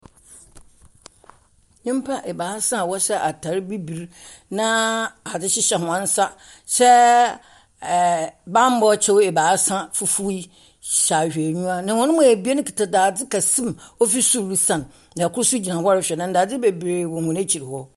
Nnipa ɛbaasa a ɔhyɛ ataade bibire na ade hyehyɛ wɔn nsa hyɛ banbɔ kyɛ ɛbaasa fufuo hyɛ ahwehweniwa. Na wɔn mu abien kita dade kɛseɛ ɔfiri soro resane na ndade bebree wɔ wɔn akyire hɔ.